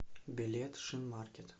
билет шинмаркет